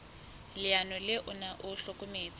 leano le ona o hlokometse